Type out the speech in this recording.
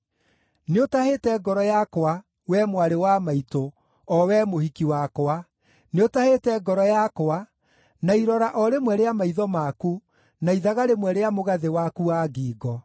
Nĩũtahĩte ngoro yakwa, wee mwarĩ wa maitũ, o wee mũhiki wakwa; nĩũtahĩte ngoro yakwa na irora o rĩmwe rĩa maitho maku, na ithaga rĩmwe rĩa mũgathĩ waku wa ngingo.